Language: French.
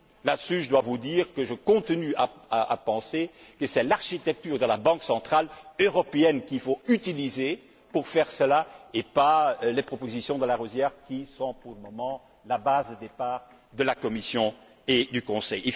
À ce sujet, je dois vous dire que je continue à penser que c'est l'architecture de la Banque centrale européenne qu'il faut utiliser à cet effet et pas les propositions de Larosière, qui sont, pour le moment, la base de départ de la Commission et du Conseil.